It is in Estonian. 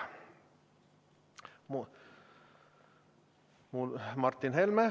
Martin Helme, palun!